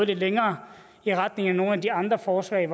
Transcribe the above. lidt længere og i retning af nogle af de andre forslag